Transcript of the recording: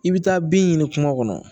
I bɛ taa bin ɲini kuma kɔnɔ